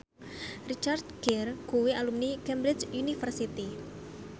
Richard Gere kuwi alumni Cambridge University